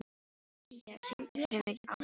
Sía, syngdu fyrir mig „Á Spáni“.